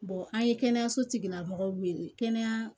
an ye kɛnɛyaso tigilamɔgɔw wele kɛnɛya